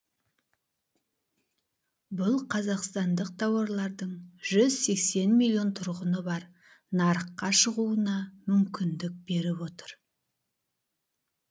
бұл қазақстандық тауарлардың жүз сексен миллион тұрғыны бар нарыққа шығуына мүмкіндік беріп отыр